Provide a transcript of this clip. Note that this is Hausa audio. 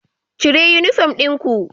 Cire uniform ɗin ku